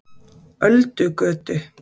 Öldugötu